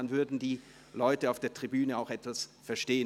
Dann würden die Leute auf der Tribüne auch etwas verstehen.